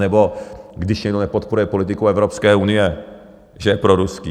Anebo když někdo nepodporuje politiku Evropské unie, že je proruský.